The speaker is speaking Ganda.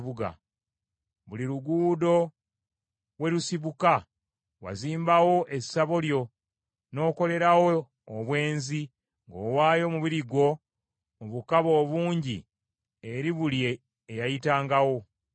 Buli luguudo we lusibuka, wazimbawo essabo lyo, n’okolerawo obwenzi, ng’owaayo omubiri gwo mu bukaba obungi eri buli eyayitangawo.